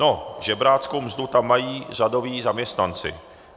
No, žebráckou mzdu tam mají řadoví zaměstnanci.